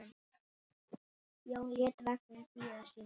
Jón lét vagninn bíða sín.